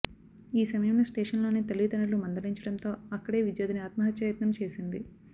ఈ సమయంలో స్టేషన్లోనే తల్లిదండ్రులు మందలించడంతో అక్కడే విద్యార్ధిని ఆత్మహత్యాయత్నం చేసింది